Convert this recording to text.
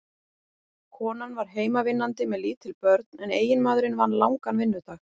Konan var heimavinnandi með lítil börn en eiginmaðurinn vann langan vinnudag.